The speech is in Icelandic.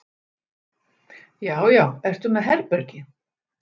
Já já. ertu með herbergi?